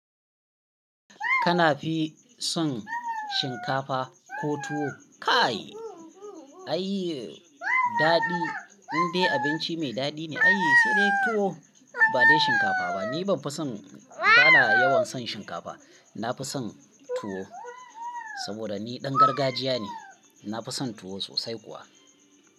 Kana fi son shinkafa ko tuwo? Kai, ai daɗi, in dai abinci mai daɗi ne, ai sai dai tuwo ba dai shinkafa ba. Ni ban fi son, bana yawan son shinkafa. Na fi son tuwo saboda ni ɗan gargajiya ne. Na fi son tuwo sosai kuwa.